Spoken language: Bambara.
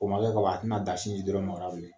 O ma kɛ kaban a tɛna da siji dɔrɔn ma o la bilen